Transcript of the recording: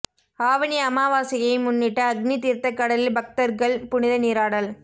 ஆவணி அமாவாசையை முன்னிட்டு அக்னி தீர்த்தக் கடலில் பக்தர்கள் புனித நீராடல்